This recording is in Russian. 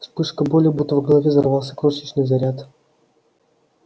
вспышка боли будто в голове взорвался крошечный заряд